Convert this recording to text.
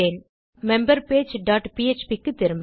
நம் member page dot PHP க்கு திரும்ப